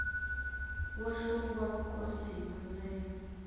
wo hlungwa vukosi hi vundzeni